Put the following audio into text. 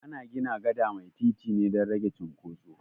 Ana gina gada mai titi ne dan rage cunkoso